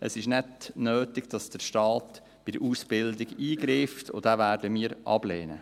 Es ist nicht nötig, dass der Staat bei der Ausbildung eingreift, und das werden wir ablehnen.